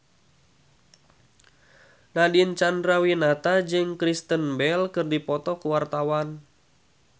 Nadine Chandrawinata jeung Kristen Bell keur dipoto ku wartawan